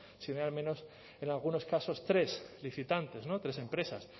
si no hay al menos en algunos casos tres licitantes no tres empresas